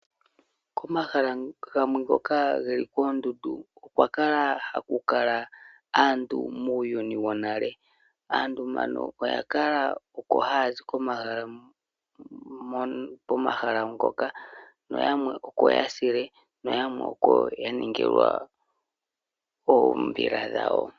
Komahala gamwe ngoka geli koondundu okwa kala haku kala aantu muuyuni wonale. Aantu mbano oya kala oko haya zi komahala ngoka. Noyamwe oko ya sile noyamwe oko ya ningilwa oombila dhawo.